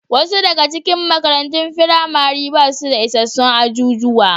Wasu daga cikin makarantun firamare ba su da isassun ajujuwa.